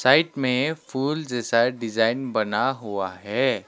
Side में फूल जैसा डिजाइन बना हुआ है।